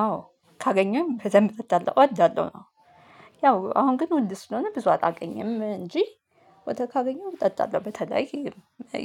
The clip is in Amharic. አዎ ካገኘሁኝ በደንብ እወዳለሁ እወዳለሁ ነው። ያው አሁን ግን ወንድ ስለሆነ ብዙ አላገኝም እንጂ ወተት ካገኘው እጠጣለሁ። በተለይ